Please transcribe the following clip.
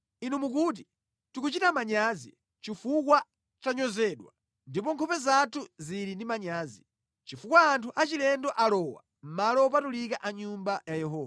Inu mukuti, “Tikuchita manyazi, chifukwa tanyozedwa ndipo nkhope zathu zili ndi manyazi, chifukwa anthu achilendo alowa malo opatulika a Nyumba ya Yehova.”